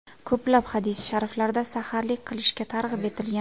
Ko‘plab hadisi shariflarda saharlik qilishga targ‘ib etilgan.